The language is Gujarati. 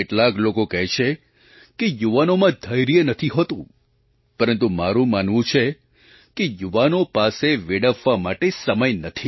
કેટલાક લોકો કહે છે કે યુવાનોમાં ધૈર્ય નથી હોતું પરંતુ મારું માનવું છે કે યુવાનો પાસે વેડફવા માટે સમય નથી